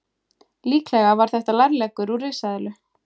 líklega var þetta lærleggur úr risaeðlu